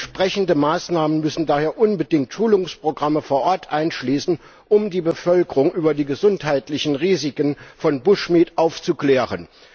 Entsprechende Maßnahmen müssen daher unbedingt Schulungsprogramme vor Ort einschließen, um die Bevölkerung über die gesundheitlichen Risiken von bushmeat aufzuklären.